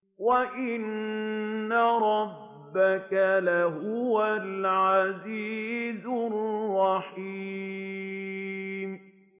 وَإِنَّ رَبَّكَ لَهُوَ الْعَزِيزُ الرَّحِيمُ